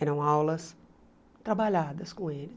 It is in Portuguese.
Eram aulas trabalhadas com eles.